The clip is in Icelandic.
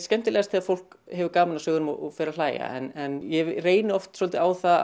skemmtilegast þegar fólk hefur gaman af sögunum og fer að hlæja en ég reyni oft svolítið á það